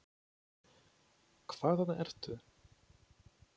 Hvaðan ertu?